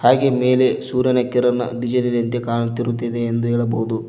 ಹಾಗೆ ಮೇಲೆ ಸೂರ್ಯನ ಕಿರಣ ಡಿಸೈನಿನಂತೆ ಕಾಣುತ್ತಿರುತ್ತದೆ ಎಂದು ಹೇಳಬಹುದು.